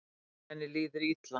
Henni líður illa.